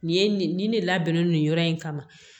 Nin ye nin nin ne labɛnnen don nin yɔrɔ in kama